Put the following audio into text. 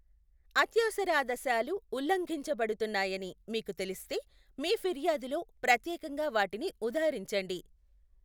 అత్యవసరాదశాలు ఉల్లంఘించబడుతున్నాయని మీకు తెలిస్తే, మీ ఫిర్యాదులో ప్రత్యేకంగా వాటిని ఉదహరించండి.